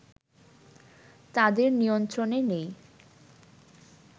তাদের নিয়ন্ত্রনে নেই